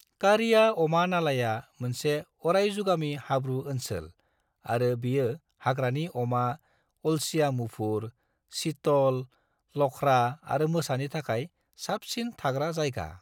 कारिया अमा नालाया मोनसे अरायजुगामि हाब्रु ओनसोल आरो बेयो हाग्रानि अमा, अलसिया मुफुर, चीतल, लख्रा आरो मोसानि थाखाय साबसिन थाग्रा जायगा।